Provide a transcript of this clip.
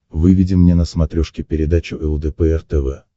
выведи мне на смотрешке передачу лдпр тв